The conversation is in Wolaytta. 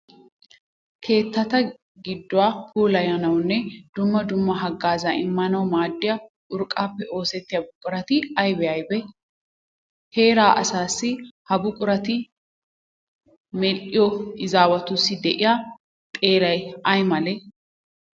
Keetta gidduwa puulayanawunne dumma dumma haggaazaa immanawu maaddiya urqqaappe oosettiya buqurati aybee aybee? Heeraa asaassi Ha buqurata medhdhiya izaawatussi de'iya xeelay ay malee?